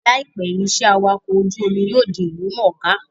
Láìpẹ́, iṣẹ́ awakọ̀ ojú-omi yóò di ìlú mọ̀ọ́ká